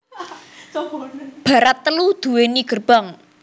Barat telu duwéni gerbang